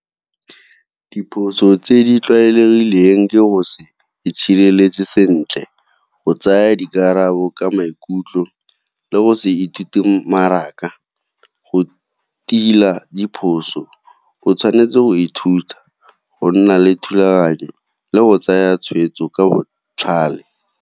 Diphoso tse di tlwaelegileng ke go se itshireletse sentle, go tsaya dikarabo ka maikutlo le go se ithute ka go tila diphoso, o tshwanetse go ithuta go nna le thulaganyo le go tsaya tshweetso ka botlhale.